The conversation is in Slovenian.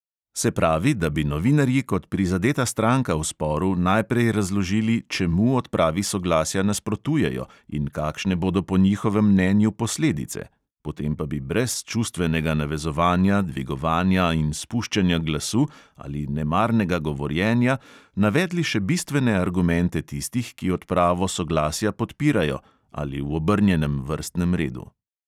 Se pravi, da bi novinarji kot prizadeta stranka v sporu najprej razložili, čemu odpravi soglasja nasprotujejo in kakšne bodo po njihovem mnenju posledice, potem pa bi brez čustvenega navezovanja, dvigovanja in spuščanja glasu ali nemarnega govorjenja navedli še bistvene argumente tistih, ki odpravo soglasja podpirajo (ali v obrnjenem vrstnem redu).